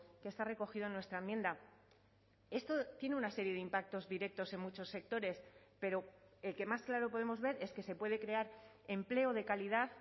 que está recogido en nuestra enmienda esto tiene una serie de impactos directos en muchos sectores pero el que más claro podemos ver es que se puede crear empleo de calidad